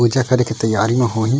पूजा करे के तैयारी म होही--